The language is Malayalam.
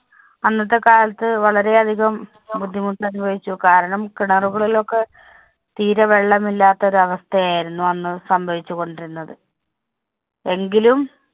അന്നത്തെ കാലത്ത് വളരെയധികം ബുദ്ധിമുട്ടനുഭവിച്ചു. കാരണം, കിണറുകളിലൊക്കെ തീരെ വെള്ളമില്ലാത്ത ഒരവസ്ഥയായിരുന്നു അന്ന് സംഭവിച്ചു കൊണ്ടിരുന്നത്. എങ്കിലും